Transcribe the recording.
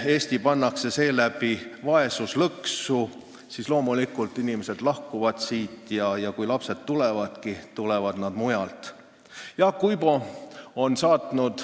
Kui Eesti pannakse seeläbi vaesuslõksu, siis loomulikult inimesed lahkuvad siit ja kui lapsed tulevadki, tulevad nad mujalt.